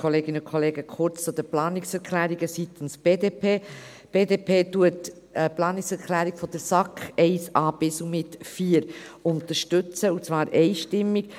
Kurz zu den Planungserklärungen seitens der BDP: Die BDP unterstützt die Planungserklärungen der SAK 1a bis und mit 4, und zwar einstimmig.